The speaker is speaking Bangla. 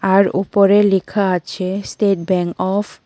আর ওপরে লেখা আছে স্টেট ব্যাং অফ --